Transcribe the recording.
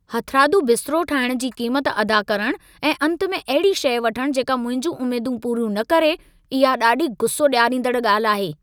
हथरादू बिस्तरो ठाहिण जी क़ीमत अदा करण ऐं अंत में अहिड़ी शइ वठणु जेका मुंहिंजियूं उम्मेदूं पूरी न करे इहा ॾाढी गुस्सो ॾियारींदड़ ॻाल्हि आहे।